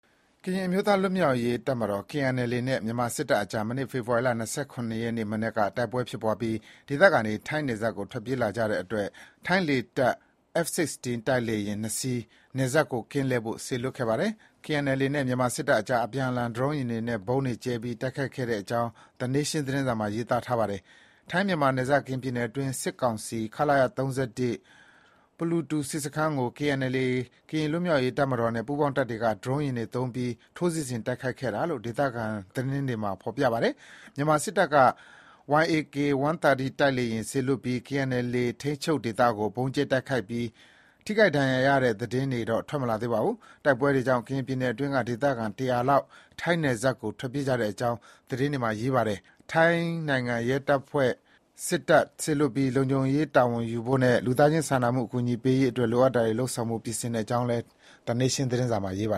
ကရင်အမျိုးသား လွတ်မြောက်ရေး တပ်မတော် KNLA နဲ့ မြန်မာစစ်တပ်အကြား မနေ့က မနက်က တိုက်ပွဲတွေ ဖြစ်ပွားပြီး ဒေသခံတွေ ထိုင်းနယ်စပ်ကို ထွက်ပြေးကြတဲ့အတွက် ထိုင်းလေတပ်က F-16 တိုက်လေယာဉ် နှစ်စီး နယ်စပ်ကို ကင်းလှည့်ဖို့ စေလွှတ်ခဲ့ပါတယ်။ KNLA နဲ့ မြန်မာစစ်တပ်အကြား အပြန်အလှန် ဒရုန်းယာဉ်တွေနဲ့ ဗုံးတွေကြဲပြီး တိုက်ခိုက်ကြတဲ့အကြောင်း သီနေရှင်း သတင်းစာမှာ ရေးပါတယ်။ ထိုင်းမြန်မာနယ်စပ် ကရင်ပြည်နယ်အတွင်း စစ်ကောင်စီ ခလရ ၃၁၊ ပူလူတူစစ်စခန်းကို KNLA ကရင်လွတ်မြောက်ရေးတပ်မတော်နဲ့ ပူးပေါင်းတပ်ဖွဲ့တွေက ဒရုန်းယာဉ်တွေသုံးပြီး ထိုးစစ်ဆင်တိုက်ခိုက်ခဲ့တာလို့ ဒေသခံသတင်းတွေမှာ ဖေါ်ပြပါတယ်။ မြန်မာစစ်တပ်ဘက်က YAK-130 တိုက်လေယာဉ် စေလွှတ်ပြီး KNLA ထိန်းချုပ်ဒေသကို ဗုံးကြဲတိုက်ခိုက်ခဲ့ပါတယ်။ ထိခိုက်ဒဏ်ရာရရတဲ့ သတင်းတွေတော့ ထွက်မလာသေးပါဘူး။ တိုက်ပွဲတွေကြောင့် ကရင်ပြည်နယ်အတွင်းက ဒေသခံ တရာလောက် ထိုင်းနယ်စပ်ကို ထွက်ပြေးကြတဲ့အကြောင်း သတင်းစာမှာရေးပါတယ်။ ထိုင်းနိုင်ငံဘက်က ရဲတပ်ဖွဲ့၊ စစ်တပ်တွေ စေလွှတ်ပြီး လုံခြုံရေး တာဝန်ယူဖို့နဲ့ လူသားချင်းစာနာမှုအကူအညီပေးရေးအတွက် လိုအပ်တာတွေ လုပ်ဆောင်ဖို့ ပြင်ဆင်ထားတဲ့အကြောင်း သီနေရှင်း သတင်းစာမှာ ရေးပါ